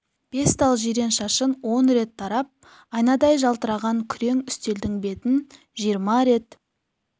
бес тал жирен шашын он рет тарап айнадай жалтыраған күрең үстелдің бетін жиырма рет